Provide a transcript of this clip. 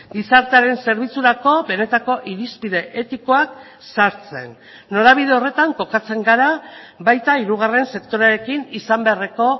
gizartearen zerbitzurako benetako irizpide etikoak sartzen norabide horretan kokatzen gara baita hirugarren sektorearekin izan beharreko